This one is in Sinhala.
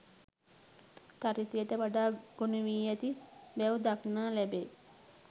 චරිතය වටා ගොනුවී ඇති බැව් දක්නා ලැබේ